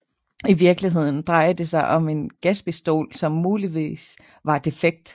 I virkeligheden drejede det sig om en gaspistol som muligvis var defekt